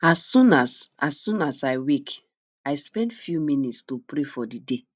as soon as i soon as i wake i spend few minutes to pray for the day